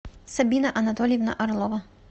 сабина анатольевна орлова